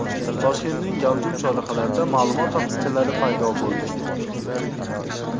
Toshkentning gavjum chorrahalarida ma’lumot taxtachalari paydo bo‘ldi.